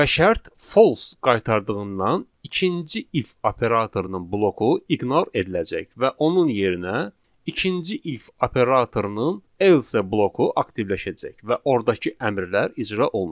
Və şərt false qaytardığından ikinci if operatorunun bloku iqnor ediləcək və onun yerinə ikinci if operatorunun else bloku aktivləşəcək və ordakı əmrlər icra olunacaq.